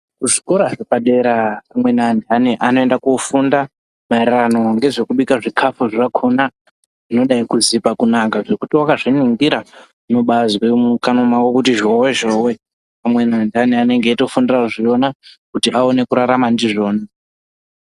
Muzvikora zvepadera vamweni vantu vanoenda kofunda maererano ngezvekubika zvikafu zvakona zvinodati kuzipa kunaka zvekuti wakazviningira unobazwa mukanwa mwako kuti zhowe zhowe akweni antu anenge eitofunga zvina kuita vaone kurarama ndozvona.